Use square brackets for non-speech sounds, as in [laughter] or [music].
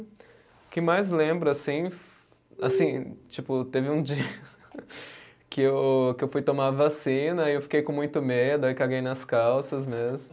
O que mais lembro, assim, assim, tipo, teve um dia [laughs] que eu, que eu fui tomar vacina e eu fiquei com muito medo, aí caguei nas calças mesmo.